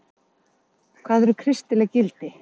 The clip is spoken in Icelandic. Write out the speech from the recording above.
Hvað eru kristileg gildi?